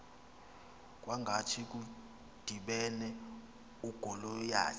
kwangathi kudibene ugoliyathi